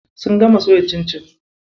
Sun gama soya cincin.